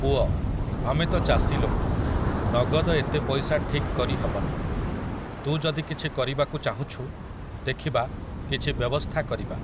ପୁଅ! ଆମେ ତ ଚାଷୀ ଲୋକ, ନଗଦ ଏତେ ପଇସା ଠିକ୍ କରି ହବନି । ତୁ ଯଦି କିଛି କରିବାକୁ ଚାହୁଁଛୁ, ଦେଖିବା, କିଛି ବ୍ୟବସ୍ଥା କରିବା ।